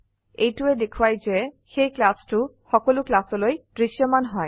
এইটোৱে দেখোৱায় যে সেই ক্লচটো সকলো ক্লাসলৈ দৃশ্যমান হয়